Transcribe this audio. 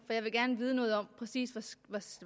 for jeg vil gerne vide noget om præcis